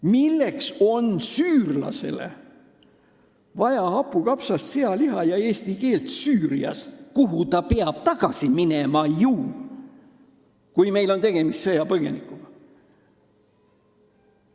Milleks on süürlasele vaja hapukapsast, sealiha ja eesti keelt Süürias, kuhu ta peab tagasi minema, kui meil on tegemist sõjapõgenikuga?